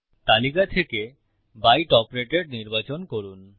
তালিকা থেকে by top rated নির্বাচন করুন